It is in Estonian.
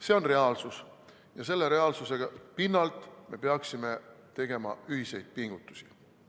See on reaalsus ja selle reaalsuse pinnalt me peaksime tegema ühiseid pingutusi.